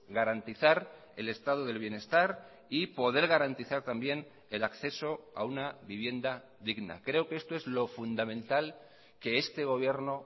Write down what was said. garantizar el estado del bienestar y poder garantizar también el acceso a una vivienda digna creo que esto es lo fundamental que este gobierno